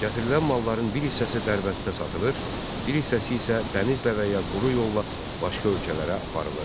Gətirilən malların bir hissəsi Dərbənddə satılır, bir hissəsi isə dənizlə və ya quru yolla başqa ölkələrə aparılırdı.